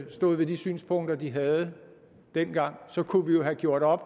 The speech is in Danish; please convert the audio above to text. stod ved de synspunkter de havde dengang kunne vi have gjort op